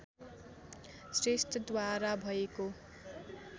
श्रेष्ठद्वारा भएको